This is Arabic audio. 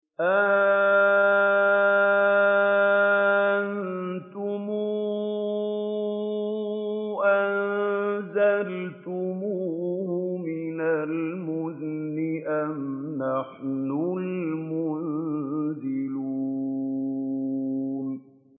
أَأَنتُمْ أَنزَلْتُمُوهُ مِنَ الْمُزْنِ أَمْ نَحْنُ الْمُنزِلُونَ